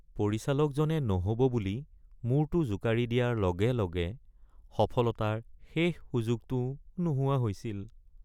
পৰিচালকজনে নহ'ব বুলি মূৰটো জোকাৰি দিয়াৰ লগে লগে সফলতাৰ শেষ সুযোগটোও নোহোৱা হৈছিল৷